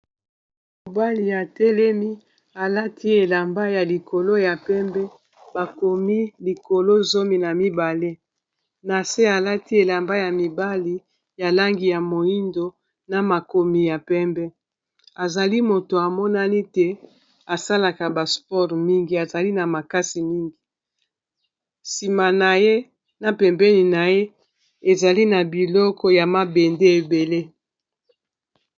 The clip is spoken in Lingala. mobali atelemi alati elamba ya likolo ya pembe bakomi likolo zomi na mibale to 12 na se alati elamba ya mibali ya langi ya moindo na makomi ya pembe azali moto amonani asalaka ba sport mingi azali na makasi mingi sima na ye na pembeni na ye ezali na biloko ya mabende ebele